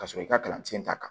Ka sɔrɔ i ka kalansen ta kan